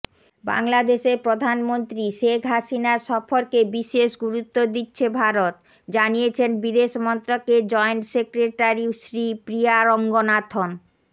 বাংলাদেশের প্রধানমন্ত্রী শেখ হাসিনার সফরকে বিশেষ গুরুত্ব দিচ্ছে ভারত জানিয়েছেন বিদেশমন্ত্রকের জয়েন্ট সেক্রেটারি শ্রীপ্রিয়া রঙ্গনাথন